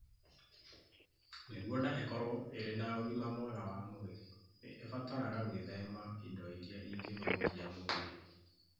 Nĩguo nda ĩkorũo ĩrĩ na ũgima mwega wa mwĩrĩ, nĩ ĩbataraga gwĩthema indo iria ingĩthũkia mwĩrĩ.